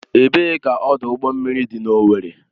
Ebee ka ọdụ ụgbọ mmiri dị n'Owerri?